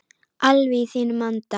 Alveg í þínum anda.